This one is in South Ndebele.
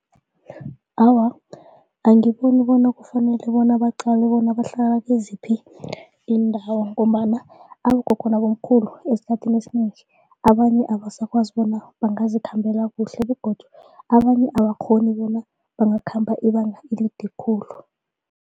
Awa, angiboni bona kufanele bona baqale bona bahlala kiziphi iindawo ngombana abogogo nabomkhulu esikhathini esinengi abanye abasakwazi bona bangazikhambela kuhle begodu abanye abakghoni bona bangakhamba ibanga elide khulu.